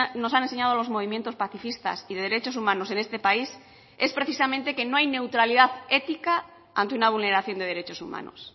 nos han enseñado los movimientos pacifistas y derechos humanos en este país es precisamente que no hay neutralidad ética ante una vulneración de derechos humanos